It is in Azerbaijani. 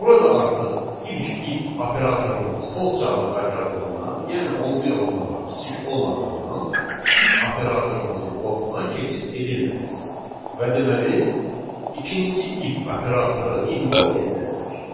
Burada artıq ilk if operatorumuz false cavabı qaytardığından, yəni 11 ondan kiçik olmadığından if operatorumuzun blokuna keçid edilməyəcək və deməli, ikinci if operatoru iqnor ediləcək.